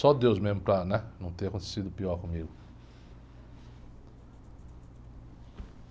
Só Deus mesmo para, né? Não ter acontecido pior comigo.